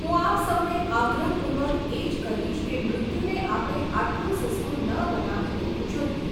હું આપ સૌને આગ્રહપૂર્વક એ જ કહીશ કે મૃત્યુને આપણે આટલું સસ્તું ન બનાવી દેવું જોઈએ.